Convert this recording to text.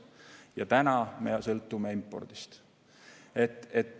Ja täna me sõltume impordist.